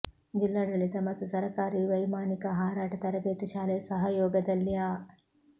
ಜಿಲ್ಲಾಡಳಿತ ಮತ್ತು ಸರಕಾರಿ ವೈಮಾನಿಕ ಹಾರಾಟ ತರಬೇತಿ ಶಾಲೆ ಸಹಯೋಗದಲ್ಲಿ ಅ